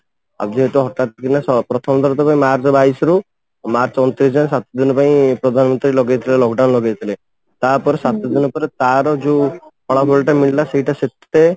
ଆଉ ଯେହେତୁ ହଠାତ କିନା ପ୍ରଥମ ଥର ତ ମାର୍ଚ୍ଚ ବାଇଶି ରୁ ମାର୍ଚ୍ଚ ଅଣତିରିଶି ଯାଏ ସାତ ଦିନ ପାଇଁ ପ୍ରଧାନମନ୍ତ୍ରୀ ଲଗେଇଥିଲେ lock down ଲଗେଇଥିଲେ ତାପରେ ସାତ ଦିନ ପରେ ତା ର ଯୋଉ ଫଳାଫଳ ଟା ମିଳିଲା ସେଇଟା ସେତେ